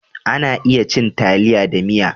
A na iya cin taliya da miya